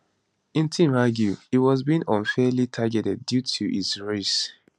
im team argue he was being unfairly targeted due to his race